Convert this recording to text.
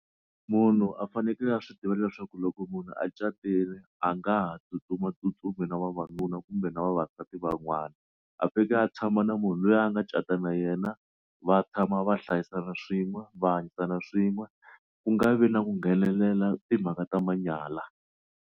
Munhu a fanekele a swi tiva leswaku loko munhu a catile a nga ha tsutsumatsutsumi na vavanuna kumbe na vavasati van'wana a fika a tshama na munhu loyi a nga cata na yena va tshama va hlayisana swin'we va hanyisana swin'we ku nga vi na ku nghenelela timhaka ta manyala.